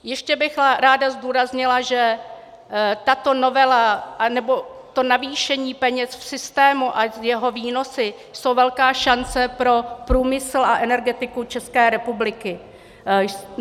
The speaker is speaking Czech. Ještě bych ráda zdůraznila, že tato novela, nebo to navýšení peněz v systému a jeho výnosy jsou velká šance pro průmysl a energetiku České republiky.